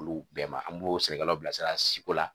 Olu bɛɛ ma an b'o sɛnɛkɛlaw bilasira siko la